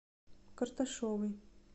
карташовой